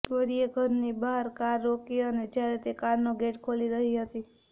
ગૌરીએ ઘરની બહાર કાર રોકી અને જ્યારે તે કારનો ગેટ ખોલી રહી હતી